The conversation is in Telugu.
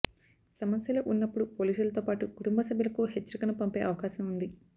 సమస్యలో ఉన్నప్పుడు పోలీసులతో పాటు కుటుంబ సభ్యులకు హెచ్చరికను పంపే అవకాశం ఉంది